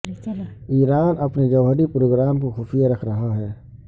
ایران اپنے جوہری پروگرام کو خفیہ رکھ رہا ہے